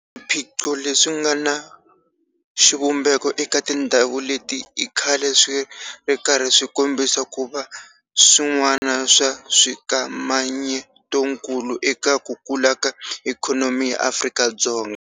Swiphiqo leswi nga na xivumbeko eka tindhawu leti i khale swi ri karhi swi kombisa ku va swin'wana swa swikamanyetokulu eka ku kula ka ikhonomi ya Afrika-Dzonga.